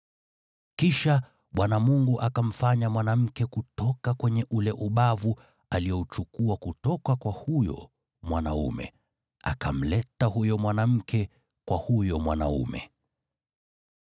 Kisha Bwana Mungu akamfanya mwanamke kutoka kwenye ule ubavu aliouchukua kutoka kwa huyo mwanaume, akamleta huyo mwanamke kwa huyo mwanaume.